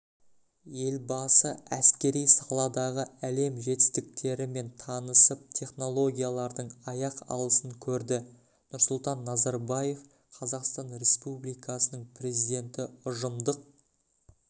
елбасы әскери саладағы әлем жетістіктерімен танысып технологиялардың аяқ алысын көрді нұрсұлтан назарбаев қазақстан республикасының президенті ұжымдық